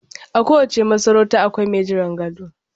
A kowace masarauta akwai mai jiran gado